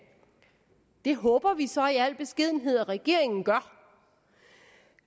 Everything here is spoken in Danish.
det håber vi så i al beskedenhed at regeringen gør